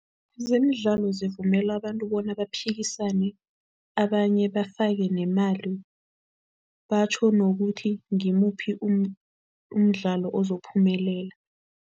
Zemidlalo zivumele abantu bona baphikisane, abanye bafake nemali batjho nokuthi ngimuphi umdlalo ozophumelela.